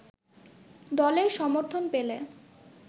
দলের সমর্থন পেলে